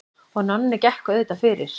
Og Nonni gekk auðvitað fyrir.